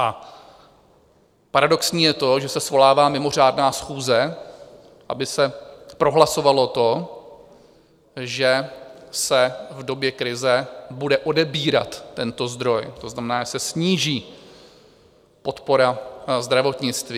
A paradoxní je to, že se svolává mimořádná schůze, aby se prohlasovalo to, že se v době krize bude odebírat tento zdroj, to znamená, že se sníží podpora zdravotnictví.